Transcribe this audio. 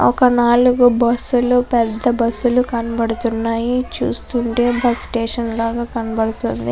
ఒక నాలుగు బస్సు లు పెద్ద బస్సు లు కనబడుతున్నాయి చూస్తుంటే బస్సు స్టేషన్ ల కనబడుతుంది.